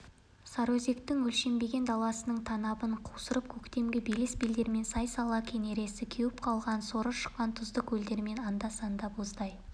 сарыөзектің өлшенбеген даласының танабын қусырып көктемгі белес-белдермен сай-сала кенересі кеуіп қалған соры шыққан тұзды көлдермен анда санда боздай